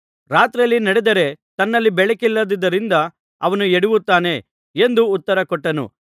ರಾತ್ರಿಯಲ್ಲಿ ನಡೆದರೆ ತನ್ನಲ್ಲಿ ಬೆಳಕಿಲ್ಲದ್ದರಿಂದ ಅವನು ಎಡವುತ್ತಾನೆ ಎಂದು ಉತ್ತರಕೊಟ್ಟನು